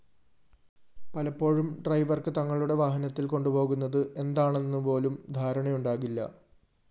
പലപ്പോഴും ഡ്രൈവര്‍ക്ക് തങ്ങളുടെ വാഹനത്തില്‍ കൊണ്ടുപോകുന്നത് എന്താണെന്നുപോലും ധാരണയുണ്ടാകില്ല